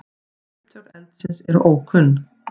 Upptök eldsins eru ókunn.